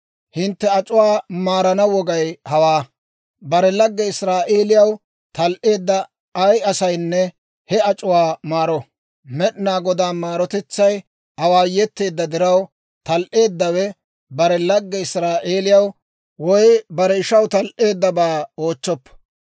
Hintte ac'uwaa maarana wogay hawaa: bare lagge Israa'eeliyaw tal"eedda ay asaynne he ac'uwaa maaro. Med'inaa Godaa maarotetsay awaayeteedda diraw, tal"eeddawe bare lagge Israa'eelaw woy bare ishaw tal"eeddabaa oochchoppo.